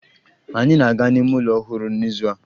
Anyị na-aga n'ime ụlọ ọhụrụ n'izu a